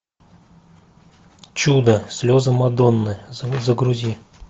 чудо слезы мадонны загрузи